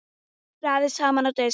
Raðið saman á disk.